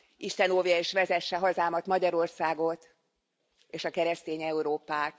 Isten óvja és vezesse hazámat, Magyarországot és a keresztény Európát!